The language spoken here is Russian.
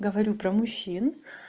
говорю про мужчин